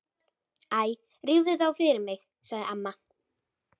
Æ rífðu þá af fyrir mig sagði amma.